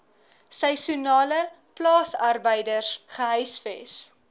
seisoenale plaasarbeiders gehuisves